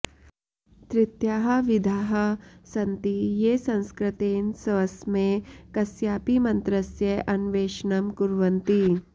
तृतीयाः विधाः सन्ति ये संस्कृतेन स्वस्मै कस्यापि मन्त्रस्य अन्वेषणं कुर्वन्ति